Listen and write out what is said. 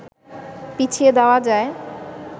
পিছিয়ে দেয়া যায়